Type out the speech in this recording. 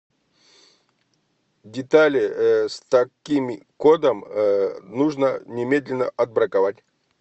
детали с таким кодом нужно немедленно отбраковать